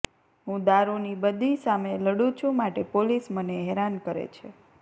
હું દારૂની બદી સામે લડુ છું માટે પોલીસ મને હેરાન કરે છે